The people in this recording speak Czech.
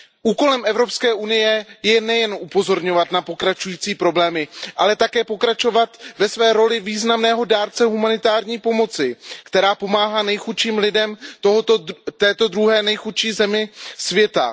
Úkolem Evropské unie je nejen upozorňovat na pokračující problémy, ale také pokračovat ve své roli významného dárce humanitární pomoci, která pomáhá nejchudším lidem této druhé nejchudší země světa.